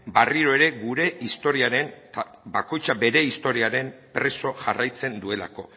berriro ere gure historiaren bakoitza bere historiaren preso jarraitzen duelako